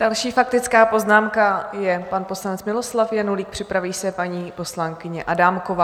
Další faktická poznámka je pan poslanec Miloslav Janulík, připraví se paní poslankyně Adámková.